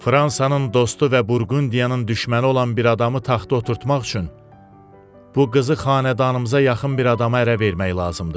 Fransanın dostu və Burqundiyanın düşməni olan bir adamı taxta oturtmaq üçün bu qızı xanədanımıza yaxın bir adama ərə vermək lazımdır.